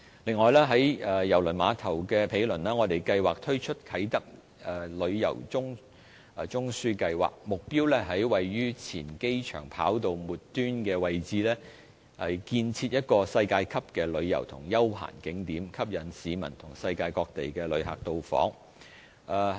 此外，在郵輪碼頭的毗鄰，我們計劃推出啟德旅遊中樞計劃，目標是在位於前機場跑道末端的位置，建設一個世界級的旅遊及休閒景點，吸引市民和世界各地的旅客到訪。